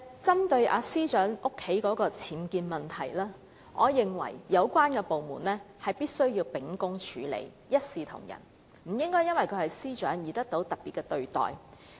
針對司長家中的僭建問題，我認為有關部門必須秉公處理，一視同仁，不應因為其司長身份而給予特別待遇。